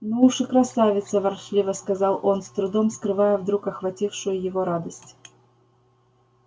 ну уж и красавица ворчливо сказал он с трудом скрывая вдруг охватившую его радость